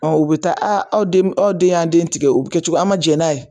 Ɔ u bi taa aw den y'an den tigɛ o be kɛ cogo an ma jɛ n'a ye